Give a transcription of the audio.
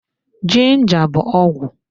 Ginja bụ ọgwụ